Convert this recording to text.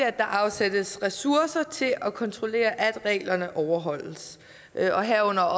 at der afsættes ressourcer til at kontrollere at reglerne overholdes herunder